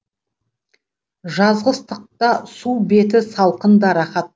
жазғы ыстықта су беті салқын да рахат